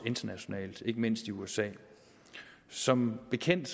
internationalt ikke mindst i usa som bekendt